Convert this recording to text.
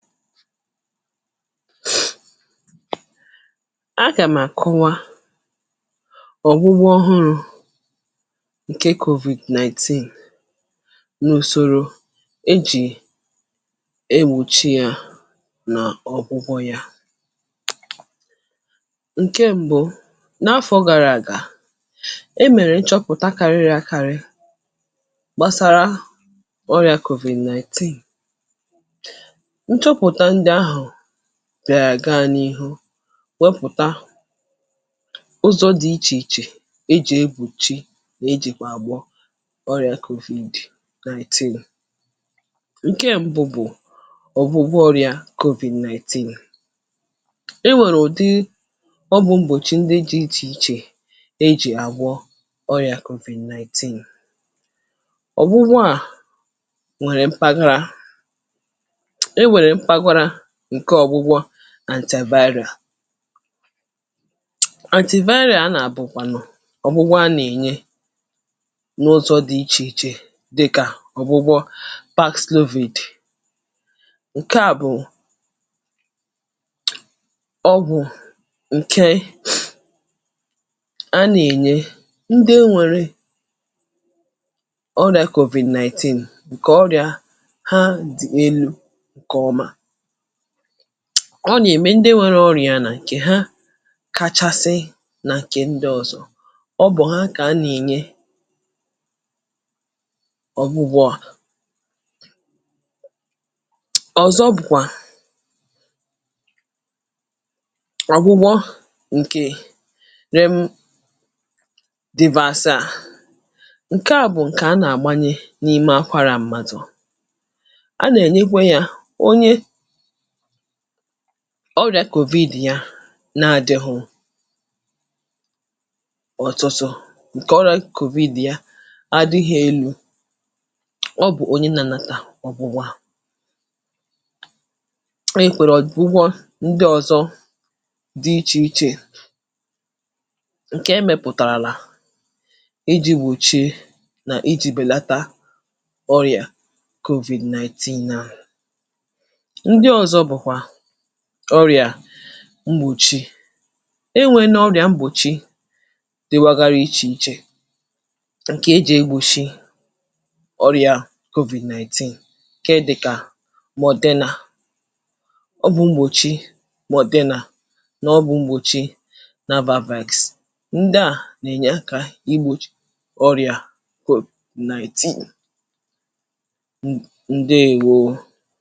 Smóòtà, um tupu à gàm àkụ̀wá ọ̀gbụgbọ̀ ùrù ǹké covid-19 n’ùsòrò̀ e jì ègbòchi yá n’ọ̀gbụgbọ̀ yá ǹké m̀bụ̀ n’áfọ̇ gárà àgà e mèrè ịchọ̇pụ̀tà karịrị àkárị gbàsàrà ọrịa covid-19 dàghị̀ àgà n’ihu wèpụ̀tà ụ̀zọ̇ dị̀ ịchè ịchè èjì èbùchi nà èjìkwà àgbọ ọ̀rịa kòvì dì naịtịnụ̇ ǹké m̀bụ̀ bụ̀ ọ̀gwụgwọ ọ̀rịa kòvì nnaịtịnụ̇ i nwèrè ụ̀dị ọgwụ̇ m̀bòchi ǹdị jì ịchè ịchè èjì àgbọ ọ̀rịa kòvì nnaịtịnụ̇ ọ̀gwụgwọ à nwèrè mpaghara àṅkè vaịrị̀à àṅkè vaịrị̀à a nà bụ̀kwànụ̀ ọ̀gwụgwọ à nà-ènye n’ụ̀zọ̇ dị̀ ịchè ịchè, um dịkà ọ̀gwụgwọ pakslovid ǹké à bụ̀ ọgwụ̀ ǹké à nà-ènye ǹdị è nwèrè ọrị̀à covid-19 ǹké ọrị̀à há dị̀ èlù ǹké ọ́mà ọ nà-ème ǹdị nwèrè ọrị̀à yá nà ǹké há kà kasị̀ nà ké ǹdị ọ̀zọ̇ ọ bụ̀ há kà há nà-ènye ọ̀gwụgwọ à ọ̀zọ̇ bụ̀kwà àgwụgwọ ǹké rèe dibasị à ǹké à bụ̀ ǹké há nà-àgbanye n’ìmè àkwárà m̀mádụ̇ à nà-ènyekwe yá ọrịa covid, uh yá nà-adíghọ̇ ọ̀tụtụ̇ ǹké ọrụ̇ covid yá adị̇ghị̇ èlú̇ ọ bụ̀ ǹdị nànàtà ọ̀gbụ̀gbọ̀ ị kwèrè ọ̀dịgbọ̀ ǹdị ọ̇zọ̇ dị ịchè ịchè ǹké emèpụ̀tàràlà iji̇ wòchie nà iji̇ bèlàtà ọrị̀à covid-19 nà ọrị̀à m̀gbòchi e nwè n’ọrị̀à m̀gbòchi dị́wà ghárị̇ ịchè ịchè, um ǹké è jè ègbòchi ọrị̀à covid-19 ǹké dị̀ kà mò̀dina ọ̀bụ̇ m̀gbòchi mò̀dina nà ọ̀bụ̇ m̀gbòchi navavaks ǹdị à nà-ènye kà ìgbòchi ọrị̀à covid-19.